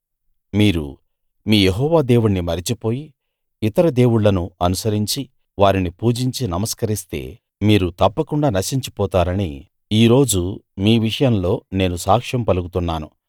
మీరు మీ యెహోవా దేవుణ్ణి మరచిపోయి ఇతర దేవుళ్ళను అనుసరించి వారిని పూజించి నమస్కరిస్తే మీరు తప్పకుండా నశించి పోతారని ఈ రోజు మీ విషయంలో నేను సాక్ష్యం పలుకుతున్నాను